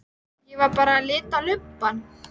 Ég var bara að lita lubbann.